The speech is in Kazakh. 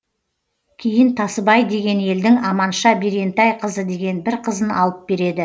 кейін тасыбай деген елдің аманша берентайқызы деген бір қызын алып береді